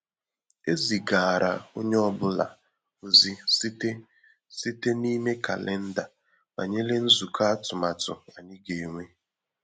E zigara onye ọ bụla ozi site site n’ime kalenda banyere nzukọ atụmatụ ànyị ga-enwe.